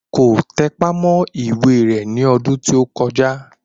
Kò tẹpá mọ́ ìwé rẹ̀ ní ọdún tí ó kọjá